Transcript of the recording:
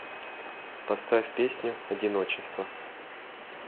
поставь песню одиночество